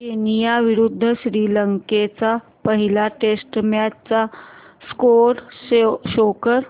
Kenya विरुद्ध श्रीलंका च्या पहिल्या टेस्ट मॅच चा स्कोअर शो कर